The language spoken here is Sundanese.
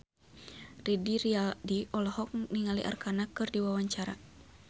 Didi Riyadi olohok ningali Arkarna keur diwawancara